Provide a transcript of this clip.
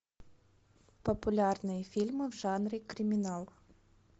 популярные фильмы в жанре криминал